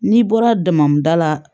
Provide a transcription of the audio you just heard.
N'i bɔra damada la